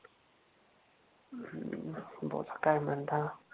बोला काय म्हणता